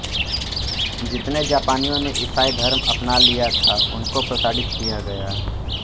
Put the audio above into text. जितने जापानियों ने ईसाई धर्म अपना लिया था उनको प्रताड़ित किया गया